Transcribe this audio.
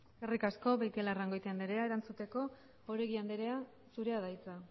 eskerrik asko beitialarrangoitia anderea erantzuteko oregi anderea zurea da hitza